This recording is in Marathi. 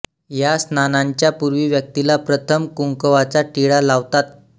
या स्नानाच्या पूर्वी व्यक्तीला प्रथम कुंकवाचा टिळा लावतात